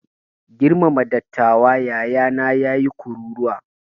Girmama dattawa! yayana ya yi kururuwa.